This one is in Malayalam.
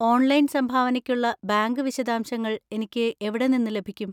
ഓൺലൈൻ സംഭാവനയ്ക്കുള്ള ബാങ്ക് വിശദാംശങ്ങൾ എനിക്ക് എവിടെ നിന്ന് ലഭിക്കും?